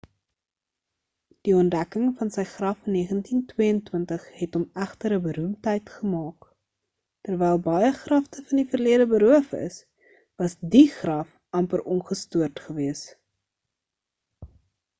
die ontdekking van sy graf in 1922 het hom egter 'n beroemdheid gemaak terwyl baie grafte van die verlede beroof is was die graf amper ongestoord gewees